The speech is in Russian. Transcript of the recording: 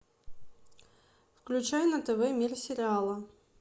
включай на тв мир сериала